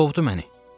Qovdu məni.